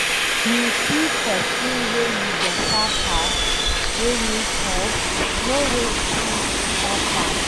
If you see pesin wey you beta pass, wey need help, no waste time to help am.